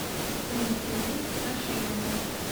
валентиной горшениной